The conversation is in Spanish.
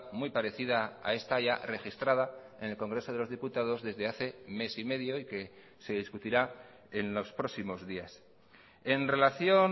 muy parecida a esta ya registrada en el congreso de los diputados desde hace mes y medio y que se discutirá en los próximos días en relación